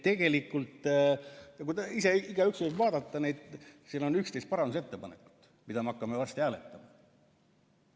Tegelikult igaüks võib ise vaadata neid, seal on 11 parandusettepanekut, mida me hakkame varsti hääletama.